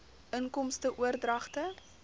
inkomste oordragte